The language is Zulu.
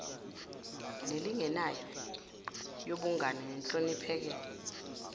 nelinganayo yobungane nehloniphekile